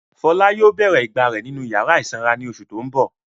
Fọlá yóò bèrè ìgbà rẹ̀ nínú ìyàrá ìsanra ní oṣù tó ń bọ̀.